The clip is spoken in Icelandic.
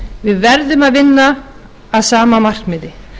við verðum að vinna að sama markmiði